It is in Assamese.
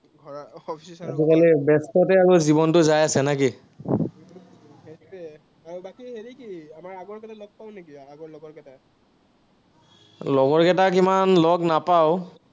আজিকালি ব্যস্ততাতেই জীৱনটো যাই আছে নেকি? লগৰ কেইটাক ইমান লগ নাপাঁও।